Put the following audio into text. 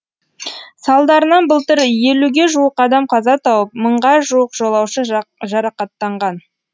салдарынан былтыр елуге жуық адам қаза тауып мыңға жуық жолаушы жарақаттанған